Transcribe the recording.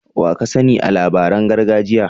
Wa ka sani a labaran gargajiya?